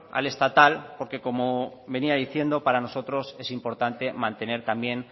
al estatal porque como venía diciendo para nosotros es importante mantener también